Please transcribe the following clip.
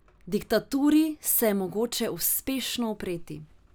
Diktaturi se je mogoče uspešno upreti.